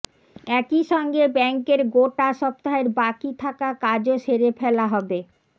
একইসঙ্গে ব্যাংকের গোটা সপ্তাহের বাকি থাকা কাজও সেরে ফেলা হবে